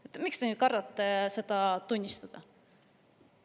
Miks te siis nüüd kardate seda tunnistada?